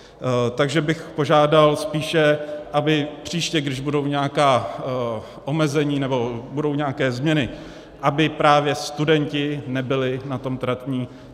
Takže bych požádal spíše, aby příště, když budou nějaká omezení nebo budou nějaké změny, aby právě studenti nebyli na tom tratní.